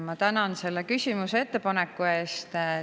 Ma tänan selle küsimuse ja ettepaneku eest.